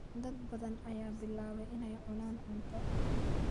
dad badan ayaa bilaabay inay cunaan cunto.